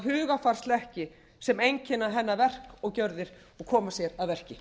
þá hugarfarshlekki sem einkenna hennar verk og gjörðir og koma sér að verki